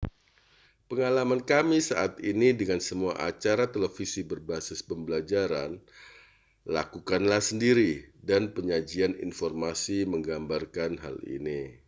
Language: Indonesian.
pengalaman kami saat ini dengan semua acara televisi berbasis pembelajaran lakukanlah sendiri dan penyajian informasi menggambarkan hal ini